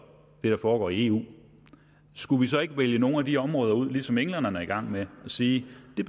hvad der foregår i eu skulle vi så ikke vælge nogle af de områder ud ligesom englænderne er i gang med og sige at